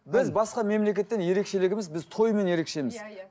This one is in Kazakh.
біз басқа мемлекеттен ерекшелігіміз біз тоймен ерекшеміз